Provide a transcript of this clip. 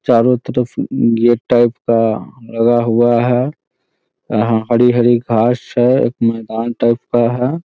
चारों तरफ gate type का लगा हुआ है यहाँ हरी -हरी घास है मैदान टाइप का है ।